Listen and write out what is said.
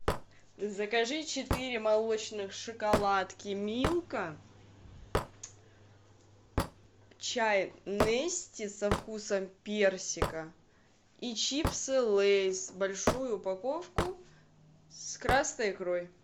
закажи четыре молочных шоколадки милка чай нести со вкусом персика и чипсы лейс большую упаковку с красной икрой